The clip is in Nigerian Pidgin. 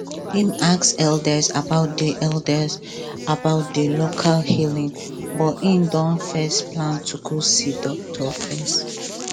him ask elders about di elders about di local healing but him don first plan to go see doctor first